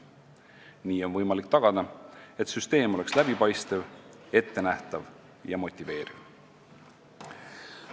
Nii on võimalik tagada see, et süsteem oleks läbipaistev, ettenähtav ja motiveeriv.